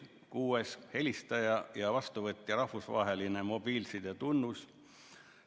Kuuendaks, helistaja ja vastuvõtja rahvusvaheline mobiilsidetunnus.